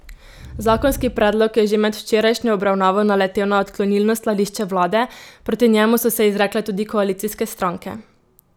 Zakonski predlog je že med včerajšnjo obravnavo naletel na odklonilno stališče vlade, proti njemu so se izrekle tudi koalicijske stranke.